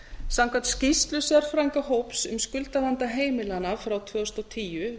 samkvæmt skýrslu sérfræðingahóps um skuldavanda heimilanna frá tvö þúsund og tíu